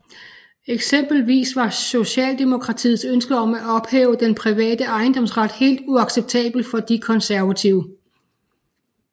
Eksempelvis var Socialdemokratiets ønske om at ophæve den private ejendomsret helt uacceptabel for De Konservative